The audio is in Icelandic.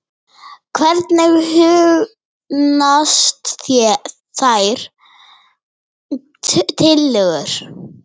Hvernig hugnast þér þær tillögur?